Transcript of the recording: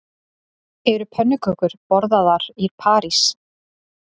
Eru pönnukökur borðaðar í París